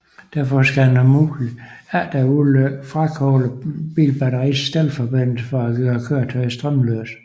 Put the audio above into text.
Derfor skal man om muligt efter ulykken frakoble bilbatteriets stelforbindelse for at gøre køretøjet strømløst